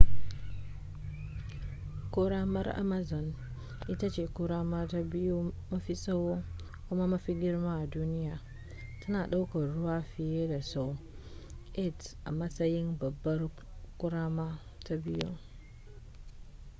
ƙoramar amazon ita ce ƙorama ta biyu mafi tsawo kuma mafi girma a duniya tana ɗaukar ruwa fiye da sau 8 a matsayin babbar ƙorama ta biyu